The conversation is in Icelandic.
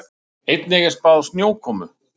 Einnig er spáð snjókomu